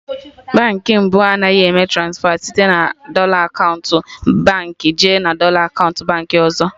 Baankị mbụ Anaghị eme transfa site na dọla akaụntụ ofu Baankị jee na dọla akaụntụ Baankị ọzọ